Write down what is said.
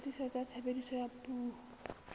dikgatiso tsa tshebediso ya dipuo